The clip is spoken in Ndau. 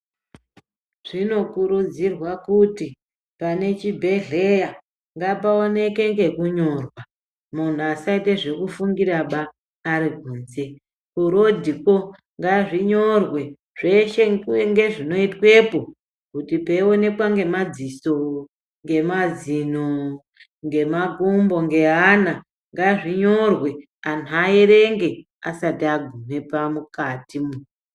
Zvinokurudzirwa kuti pane chibhehleya ngapaoneke ngekunyorwa munhu asaite pekufungiraba arikunze, kurodhiko ngazvinyorwe zveshe ngezvinoitwepo. Kuti peionekwa ngemadziso, ngemazino, ngemakumbo ,ngeana, ngazvinyorwe anhu aerenge asati agume mukatimwo.